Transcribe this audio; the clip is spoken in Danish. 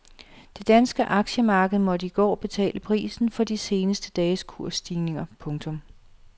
Det danske aktiemarked måtte i går betale prisen for de seneste dages kursstigninger. punktum